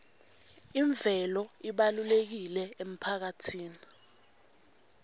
imvelo ibalulekile emphakatsini